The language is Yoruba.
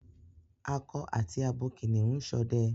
Ako àti abo kìnìún n sode